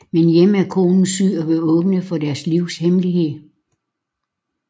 Men hjemme er konen syg og vil åbne for deres livs hemmelighed